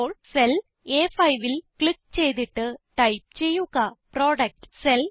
ഇപ്പോൾ സെൽ A5ൽ ക്ലിക്ക് ചെയ്തിട്ട് ടൈപ്പ് ചെയ്യുക പ്രൊഡക്ട്